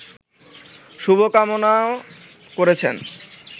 শুভ কামনাও করেছেন